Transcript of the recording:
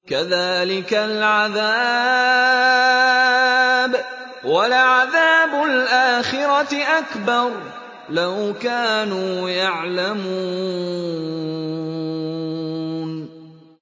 كَذَٰلِكَ الْعَذَابُ ۖ وَلَعَذَابُ الْآخِرَةِ أَكْبَرُ ۚ لَوْ كَانُوا يَعْلَمُونَ